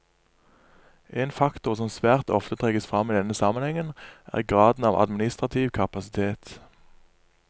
En faktor som svært ofte trekkes fram i denne sammenhengen er graden av administrativ kapasitet.